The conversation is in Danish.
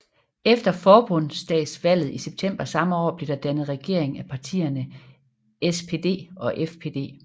Efter forbundsdagsvalget i september samme år blev der dannet regering af partierne SPD og FDP